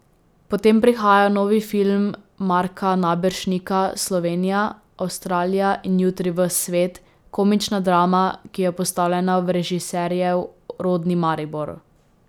Potem prihaja novi film Marka Naberšnika Slovenija, Avstralija in jutri ves svet, komična drama, ki je postavljena v režiserjev rodni Maribor.